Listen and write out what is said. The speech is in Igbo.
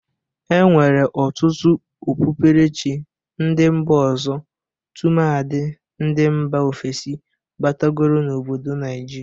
E nwere ọtụtụ okpukperechi ndị mba ọzọ, tụmadị ndị mba ofesi batagoro n'obodo Naijiria.